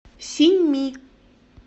синьми